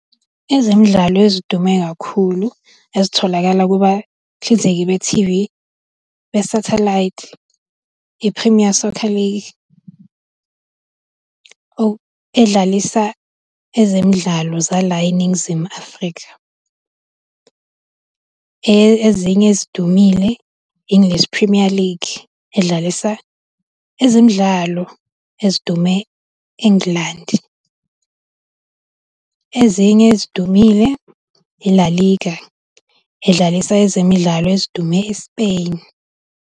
Ezemidlalo ezidume kakhulu ezitholakala kubahlinzeki bethivi besathelayithi, i-Premier Soccer League edllaisa ezemidlalo zala eNingizimu Afrika. Ezinye ezidumile, i-English Premier League edlalisa ezemidlalo ezidume eNgilandi. Ezinye ezidumile i-La Liga edlalisa ezemidlalo ezidume e-Spain.